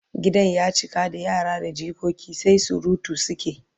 Gidan ya cika da yara da jikoki sai surutu suke